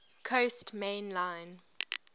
coast main line